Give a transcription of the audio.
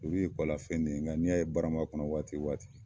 Olu ye kɔlafɛn de ye nka n'i y'a ye barama kɔnɔ waati o waati